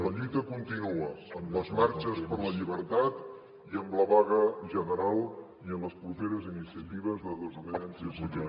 la lluita continua amb les marxes per la llibertat i amb la vaga general i amb les properes iniciatives de desobediència civil